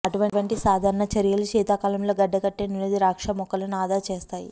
అటువంటి సాధారణ చర్యలు శీతాకాలంలో గడ్డకట్టే నుండి ద్రాక్ష మొక్కలను ఆదా చేస్తాయి